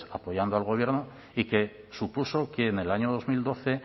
apoyando al gobierno y que supuso que en el año dos mil doce